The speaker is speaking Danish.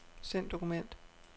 Send dokument.